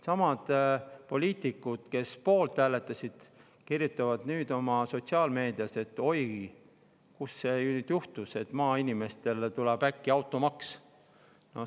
Samad poliitikud, kes poolt hääletasid, kirjutavad nüüd sotsiaalmeedias, et oi, kuidas see nüüd juhtus, et maainimestele tuleb äkki automaks!